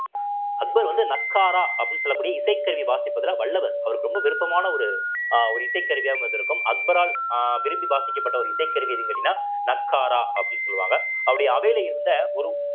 அக்பர் வந்து நக்காரா அப்படின்னு சொல்லக்கூடிய இசைக்கருவி வாசிப்பதுல வல்லவர் அவருக்கு ரொம்ப விருப்பமான ஒரு அஹ் ஒரு இசைக் கருவியாகவும் இருந்திருக்கும் அக்பரால் அஹ் விரும்பி வாசிக்கப்பட்ட ஒரு இசைக்கருவி எதுன்னு கேட்டீங்கன்னா நக்காரா அப்படின்னு சொல்லுவாங்க அவருடைய அவையில இருந்த ஒரு